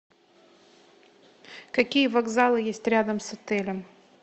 какие вокзалы есть рядом с отелем